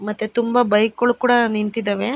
ಮತ್ತೆ ತುಂಬಾ ಬೈಕ್ ಗಳು ಕೂಡ ನಿಂತಿದವೆ.